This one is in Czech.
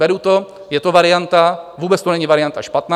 Beru to, je to varianta, vůbec to není varianta špatná.